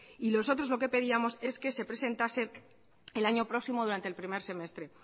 y nosotros lo que pedíamos es que se presentase el año próximo durante el primer semestre